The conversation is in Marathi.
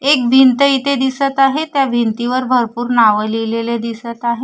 एक भिंत इथे दिसत आहे त्या भिंतीवर भरपूर नावं लिहिलेलं दिसत आहे.